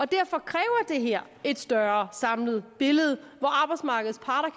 derfor kræver det her et større samlet billede hvor arbejdsmarkedets parter